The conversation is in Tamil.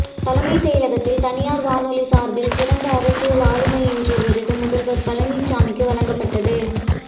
தலைமைச் செயலகத்தில் தனியார் வானொலி சார்பில் சிறந்த அரசியல் ஆளுமை என்ற விருது முதல்வர் பழனிசாமிக்கு வழங்கப்பட்டது